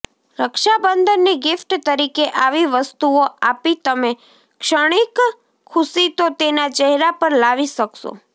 રક્ષાબંધનની gift તરીકે આવી વસ્તુઓ આપી તમે ક્ષણિક ખુશી તો તેના ચહેરા પર લાવી શકશો